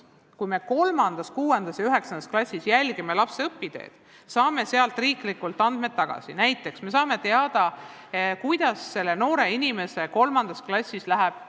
Kui me 3., 6. ja 9. klassis jälgime lapse õpiteed, saame selle käigus teatavaid andmeid, näiteks saame teada, kuidas sellel noorel inimesel 3. klassis läheb.